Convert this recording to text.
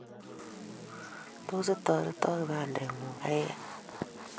Tos itoretoo kibandingung kaikai?